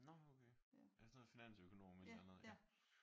Nå okay er det sådan noget finansøkonom et eller andet ja?